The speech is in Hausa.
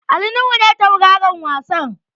Ali Nuhu ne tauraron wasan.